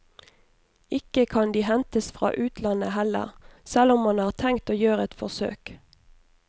Ikke kan de hentes fra utlandet heller, selv om man har tenkt å gjøre et forsøk.